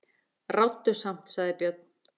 Ráddu samt, sagði Björn.